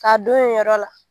Ka don yen yɔrɔ la.